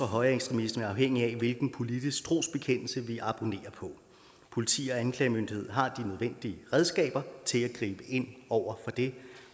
højreekstremisme afhængigt af hvilken politisk trosbekendelse vi abonnerer på politi og anklagemyndighed har de nødvendige redskaber til at gribe ind over for det